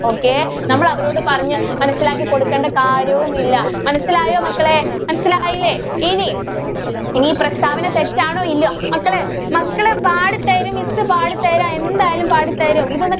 Okay. നമ്മള് അവരോട് പറഞ്ഞ് മനസ്സിലാക്കികൊടുക്കേണ്ട കാര്യവുമില്ല. മനസ്സിലായോ മക്കളെ? മനസ്സിലായില്ലെ? ഇനി ഈ പ്രസ്താവന തെറ്റാണോ? ഇല്ല്യോ? മക്കളെ മക്കളേ പാടി തരും miss പാടി തരാം. എന്തായാലും പാടി തരും ഇതൊന്ന്